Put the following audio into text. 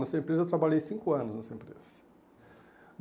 Nessa empresa eu trabalhei cinco anos, nessa empresa.